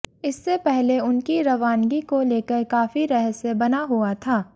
इससे पहले उनकी रवानगी को लेकर काफी रहस्य बना हुआ था